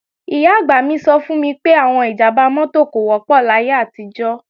Ìyá-àgbà mi sọ fún mi pé, àwọn ìjàmbá mọ́tò kò wọ́pọ̀ láyé àtijọ́